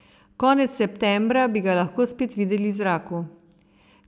Konec septembra bi ga lahko spet videli v zraku.